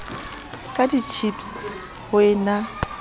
ka ditjhipse ho e na